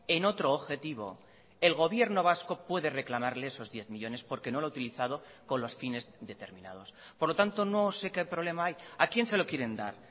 en otro objetivo el gobierno vasco puede reclamarle esos diez millónes porque no lo ha utilizado con los fines determinados por lo tanto no sé qué problema hay a quién se lo quieren dar